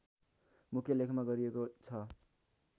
मुख्य लेखमा गरिएको छ